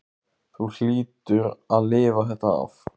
Þú hlýtur að lifa þetta af.